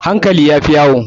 Hankali ya fi yawo.